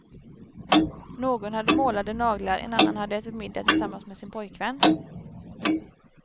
Någon hade målade naglar, en annan hade ätit middag tillsammans med sin pojkvän.